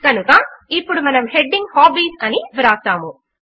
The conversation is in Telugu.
కనుక ఇప్పుడు మనము హెడింగ్ హాబీస్ అని వ్రాస్తాము